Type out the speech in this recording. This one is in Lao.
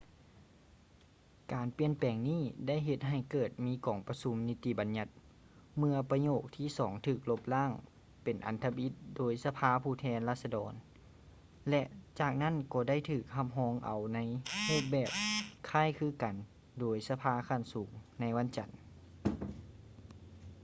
ການປ່ຽນແປງນີ້ໄດ້ເຮັດໃຫ້ເກີດມີກອງປະຊຸມນິຕິບັນຍັດເມື່ອປະໂຫຍກທີສອງຖືກລົບລ້າງເປັນອັນທຳອິດໂດຍສະພາຜູ້ແທນລາຊະດອນ ແລະ ຈາກນັ້ນກໍໄດ້ຖືກຮັບຮອງເອົາໃນຮູບແບບຄ້າຍຄືກັນໂດຍສະພາຂັ້ນສູງໃນວັນຈັນ